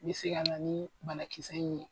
Be se ka na ni banakisɛ in ye.